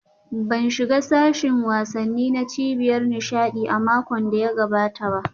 Ban shiga sashin wasanni na cibiyar nishaɗi a makon da ya gabata ba